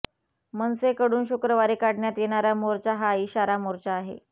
मनसेकडून शुक्रवारी काढण्यात येणारा मोर्चा हा इशारा मोर्चा आहे